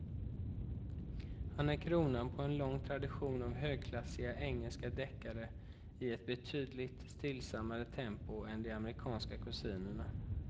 Han är kronan på en lång tradition av högklassiga engelska deckare i ett betydligt stillsammare tempo än de amerikanska kusinerna.